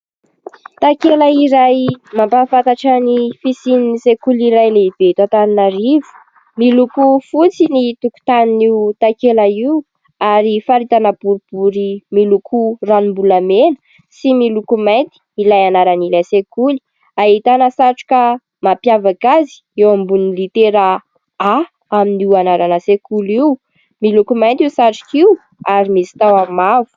Takela iray mampahafantatra ny fisian'ny sekoly iray lehibe eto Antananarivo : miloko fotsy ny tokotan'io takela io ary faritana boribory miloko ranom-bolamena sy miloko mainty ilay anaran'ilay sekoly. ahitana satroka mampiavaka azy eo ambonin'ny litera "A " amin'io anarana sekoly io, miloko mainty io satroka io ary misy tahony mavo.